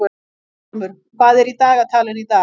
Guttormur, hvað er í dagatalinu í dag?